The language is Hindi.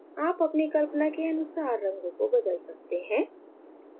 आप अपनी कल्पना के अनुसार रंगों को बदल सकते हैं